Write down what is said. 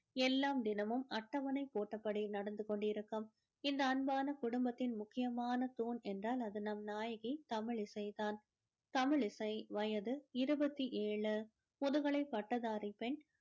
எல்லாம் தினமும் அட்டவணை போட்டப்படி நடந்து கொண்டிருக்கும் இந்த அன்பான குடும்பத்தின் முக்கியமான தூண் என்றால் அது நம் நாயகி தமிழிசை தான் தமிழிசை வயது இருபத்து எழு முதுகலை பட்டதாரி பெண்